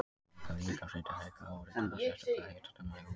Þegar líkamshiti hækkar áreitir það sérstaka hitanema í húðinni.